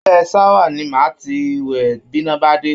Abẹ́ ṣáwà ni màá ti wẹ̀ bíná bá dé